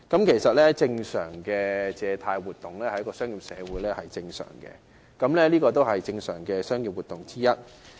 其實，正常的借貸活動，在商業社會是正常的商業活動之一。